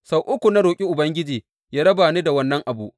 Sau uku na roƙi Ubangiji yă raba ni da wannan abu.